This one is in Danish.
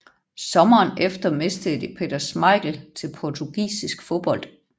Sommeren efter mistede de Peter Schmeichel til portugisisk fodbold